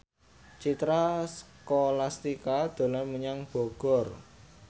Citra Scholastika dolan menyang Bogor